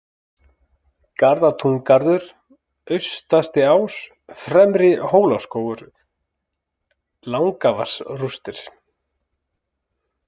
Garðatúngarður, Austastiás, Fremri-Hólaskógur, Langavatnsrústir